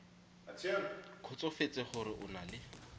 kgotsofetse gore o na le